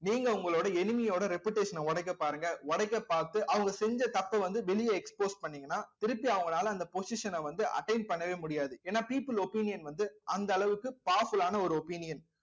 நீங்க உங்களோட enemy யோட reputation அ உடைக்க பாருங்க உடைக்க பார்த்து அவங்க செஞ்ச தப்பை வந்து வெளிய expose பண்ணிங்கன்னா திருப்பி அவங்களால அந்த position அ வந்து attain பண்ணவே முடியாது ஏன்னா people opinion வந்து அந்த அளவுக்கு powerful ஆன ஒரு opinion